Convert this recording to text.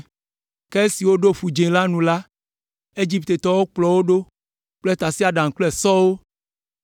Ke esi woɖo Ƒu Dzĩ la nu la, Egiptetɔwo kplɔ wo ɖo kple tasiaɖamwo kple sɔwo,